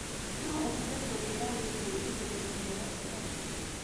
no ũhote kũnjĩira wĩigie ĩthũiro ria gatagati